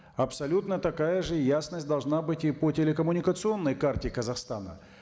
абсолютно такая же ясность должна быть и по телекоммуникационной карте казахстана